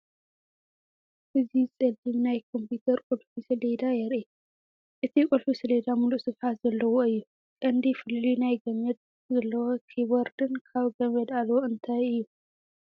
እዚ ጸሊም ናይ ኮምፒተር ቁልፊ ሰሌዳ የርኢ። እቲ ቁልፊ ሰሌዳ ምሉእ ስፍሓት ዘለዎ እዩ፣ ቀንዲ ፍልልይ ናይ ገመድ ዘለዎ ኪቦርድን ካብ ገመድ ኣልቦ እንታይ እዩ?